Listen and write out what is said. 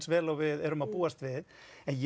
vel og við erum að búast við en ég